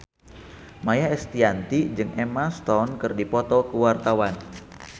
Maia Estianty jeung Emma Stone keur dipoto ku wartawan